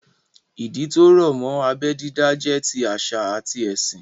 Ìdí tó rọ̀ mọ́ abẹ́ dídá jẹ́ ti àṣà àti ẹ̀sìn